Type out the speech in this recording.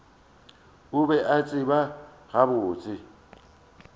a be a tseba gabotse